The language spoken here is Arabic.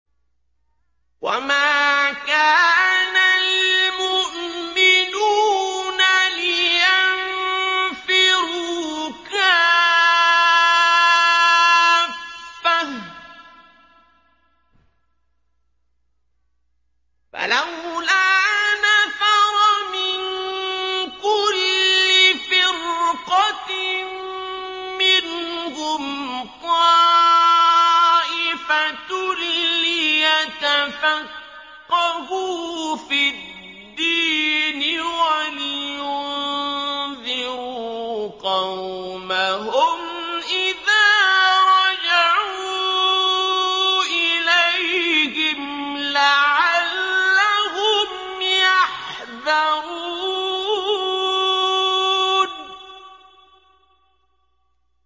۞ وَمَا كَانَ الْمُؤْمِنُونَ لِيَنفِرُوا كَافَّةً ۚ فَلَوْلَا نَفَرَ مِن كُلِّ فِرْقَةٍ مِّنْهُمْ طَائِفَةٌ لِّيَتَفَقَّهُوا فِي الدِّينِ وَلِيُنذِرُوا قَوْمَهُمْ إِذَا رَجَعُوا إِلَيْهِمْ لَعَلَّهُمْ يَحْذَرُونَ